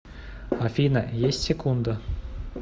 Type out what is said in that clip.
афина есть секунда